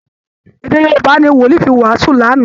Èdè Yorùbá ni Wòlìí fi wàásù lánàá